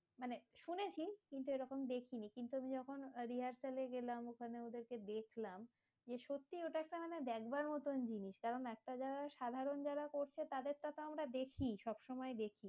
মানে শুনেছি কিন্তু এইরকম দেখিনি, কিন্তু আমি যখন rehearsal এ গেলাম ওখানে ওদেরকে দেখলাম, যে সত্যি ওটা একটা মানে দেখবার মতন জিনিস, কারণ একটা জায়গায় সাধারণ যারা করছে তাদের টা তো আমরা দেখি সব সময় দেখি।